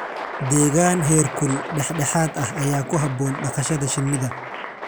Deegaan heerkul dhexdhexaad ah ayaa ku habboon dhaqashada shinnida.